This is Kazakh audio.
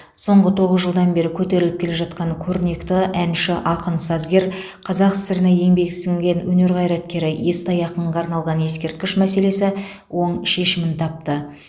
соңғы тоғыз жылдан бері көтеріліп келе жатқан көрнекті әнші ақын сазгер қазақ сср на еңбек сіңірген өнер қайраткері естай ақынға арналған ескерткіш мәселесі оң шешімін тапты